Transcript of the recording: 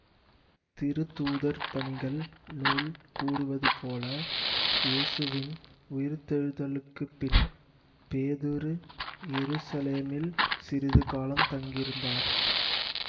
திருத்தூதர் பணிகள் நூல் கூறுவது போல இயேசுவின் உயிர்த்தெழுதலுக்குப் பின் பேதுரு எருசலேமில் சிறிது காலம் தங்கியிருந்தார்